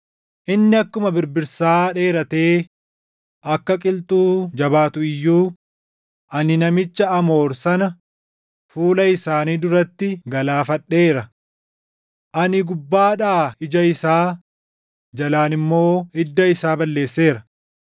“Inni akkuma birbirsaa dheeratee akka qilxuu jabaatu iyyuu, ani namicha Amoor sana fuula isaanii duratti galaafadheera. Ani gubbaadhaa ija isaa, jalaan immoo hidda isaa balleesseera.